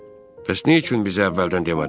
Bəs nə üçün bizə əvvəldən demədin?